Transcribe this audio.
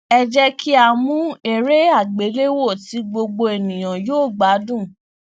ẹ jẹ ki a mu ere agbelewo ti gbogbo eniyan yoo gbadun